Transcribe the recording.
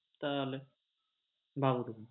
তাহলে? ভাবো তুমি